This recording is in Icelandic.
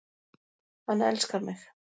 Hann elskar mig